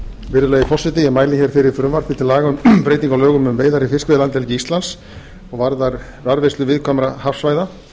virðulegi forseti ég mæli hér fyrir frumvarpi til laga um breytingu á lögum um veiðar í fiskveiðilandhelgi íslands og varðar varðveislu viðkvæmra hafsvæða